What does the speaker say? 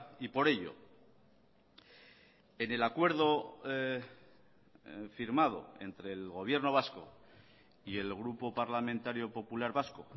y por ello en el acuerdo firmado entre el gobierno vasco y el grupo parlamentario popular vasco